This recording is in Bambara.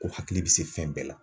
Ko hakili bɛ se fɛn bɛɛ la.